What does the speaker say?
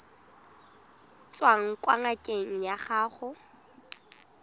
tswang kwa ngakeng ya gago